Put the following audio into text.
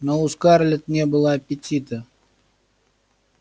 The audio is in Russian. но у скарлетт не было аппетита